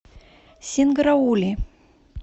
синграули